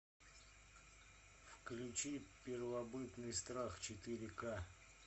включи первобытный страх четыре ка